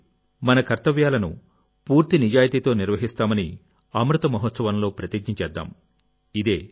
కాబట్టి మన కర్తవ్యాలను పూర్తి నిజాయితీతో నిర్వహిస్తామనిఅమృత మహోత్సవంలో ప్రతిజ్ఞ చేద్దాం